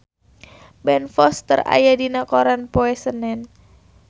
Ben Foster aya dina koran poe Senen